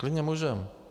Klidně můžeme.